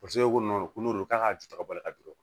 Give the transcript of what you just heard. Paseke ko ko n'o de ye k'a ka ju kabɔli ka jɔ